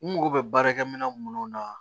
N mago bɛ baarakɛminɛn minnu na